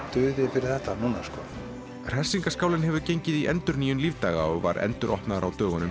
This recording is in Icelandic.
fyrir þetta núna sko hefur gengið í endurnýjun lífdaga og var enduropnaður á dögunum